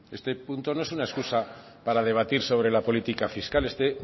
este punto no es una escusa para debatir sobre la política fiscal este